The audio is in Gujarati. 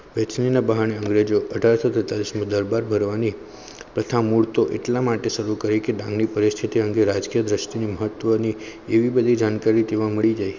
કોચિંગ ના બહાને ગોજો અઢાંરશો તેતાલીસ દરબાર ભરવા ની તથા મુળ તો એટલા માટે સારું કરી ડાંગ ની પરિસ્થિતિ અંગે રાષ્ટીય મહત્વ ની એવી બધી જાણકારી તેમાં મળી જાય